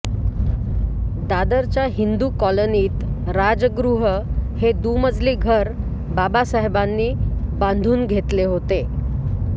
दादरच्या हिंदू कॉलनीत राजगृह हे दुमजली घर बाबासाहेबानी बांधून घेतले होते